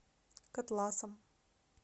котласом